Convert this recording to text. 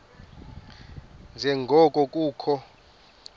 nje ngoko kukho